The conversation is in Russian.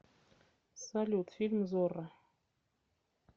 салют фильм зорро